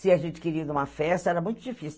Se a gente queria ir em uma festa, era muito difícil.